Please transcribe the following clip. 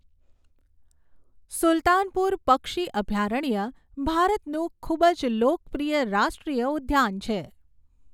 સુલતાનપુર પક્ષી અભયારણ્ય ભારતનું ખૂબ જ લોકપ્રિય રાષ્ટ્રીય ઉદ્યાન છે.